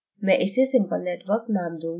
मैं इसे simple network name दूँगी